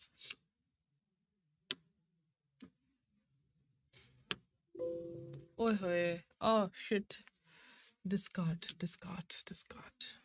ਓਏ ਹੋਏ oh sit discard, discard, discard